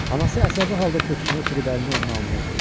Anası əsəbi halda köksünü ötürüb əlini onun alnına qoydu.